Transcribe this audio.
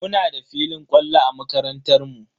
Muna da filin kwallo a makarantar mu.